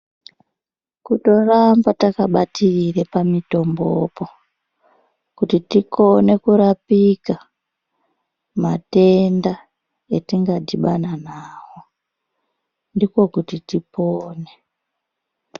Kutoramba takabatirire pamitombopo kuti tikone kurapike matenda etingadhibane nawo ndiko kuti tipone.